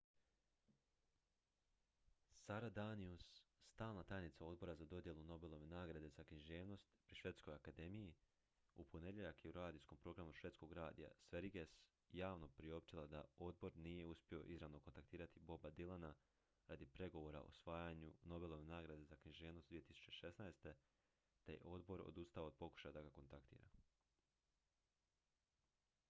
sara danius stalna tajnica odbora za dodjelu nobelove nagrade za književnost pri švedskoj akademiji u ponedjeljak je u radijskom programu švedskog radija sveriges javno priopćila da odbor nije uspio ​​izravno kontaktirati boba dylana radi pregovora o osvajanju nobelove nagrade za književnost 2016. te je odbor odustao od pokušaja da ga kontaktira